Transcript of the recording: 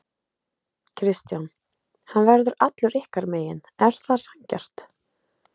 Kristján: Hann verður allur ykkar megin, er það sanngjarnt?